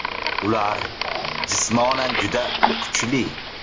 Ular jismonan juda kuchli.